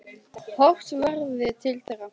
Horft verði til þeirra.